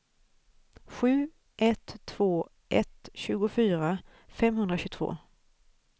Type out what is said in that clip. sju ett två ett tjugofyra femhundratjugotvå